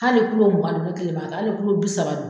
Hali kulo mugan d ne kelen b'a kɛ hali kulo bi saba d